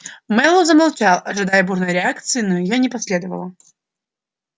мэллоу замолчал ожидая бурной реакции но её не последовало